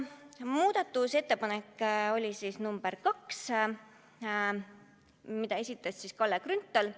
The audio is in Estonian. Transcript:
Muudatusettepaneku nr 2 esitas Kalle Grünthal.